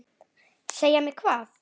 Segja mér hvað?